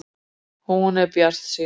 Hún er bjartsýn.